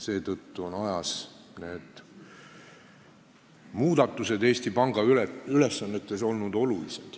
Seetõttu on ajas tehtud muudatused Eesti Panga ülesannetes olnud olulised.